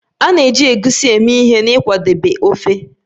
A na-eji Egusi eme ihe n'ịkwadebe ofe